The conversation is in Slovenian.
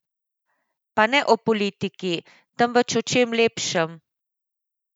Pa ne o politiki, temveč o čem lepšem!